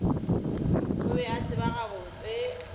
o be a tseba gabotse